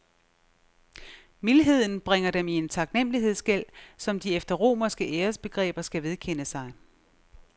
Mildheden bringer dem i en taknemlighedsgæld, som de efter romerske æresbegreber skal vedkende sig.